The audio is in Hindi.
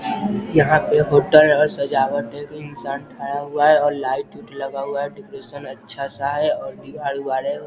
यहाँ पे होटल और सजावट है। इंसान ठड़ा हुआ है और लाइट -उट लगा हुआ है। डेकोरेशन अच्छा-सा है और दीवार-उवार है।